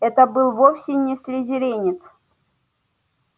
это был вовсе не слизеринец